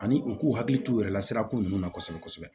Ani u k'u hakili t'u yɛrɛ la sirako ninnu na kosɛbɛ kosɛbɛ